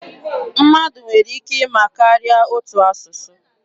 Mmadụ nwere ike ịma karịa otu asụsụ.